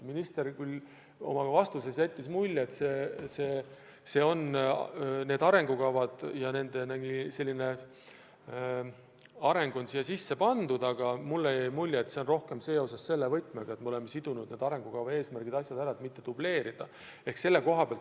Minister küll oma vastuses jättis mulje, et nende arengukavadega alusel toimunud areng on siia sisse pandud, aga mulle jäi mulje, et see on rohkem selles võtmes, et me oleme arengukava eesmärgid niimoodi sidunud, et mitte dubleerida.